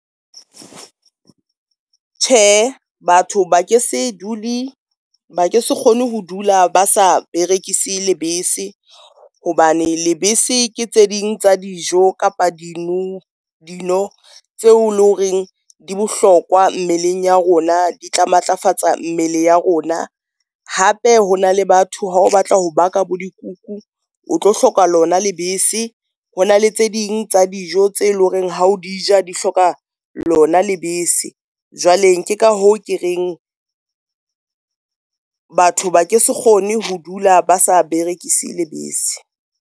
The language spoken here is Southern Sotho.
Tjhe, batho ba ke se dule ba ke se kgone ho dula ba sa berekise lebese, hobane lebese ke tse ding tsa dijo kapa dino tseo le horeng di bohlokwa mmeleng ya rona, di tla matlafatsa mmele ya rona. Hape ho na le batho ha o batla ho baka bo dikuku o tlo hloka lona lebese. Hona le tse ding tsa dijo tse leng hore ha o dija di hloka lona lebese. Jwale ke ka hoo ke reng batho ba ke se kgone ho dula, ba sa berekise lebese.